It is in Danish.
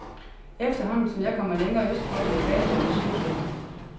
Efterhånden som jeg kommer længere østpå, bliver fattigdommen tydeligere.